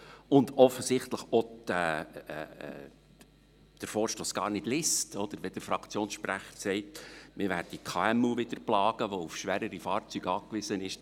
Und offensichtlich liest sie auch den Vorstoss gar nicht, wenn der Fraktionssprecher sagt, man werde wieder die KMU plagen, die auf schwerere Fahrzeuge angewiesen sind.